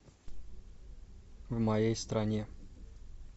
в моей стране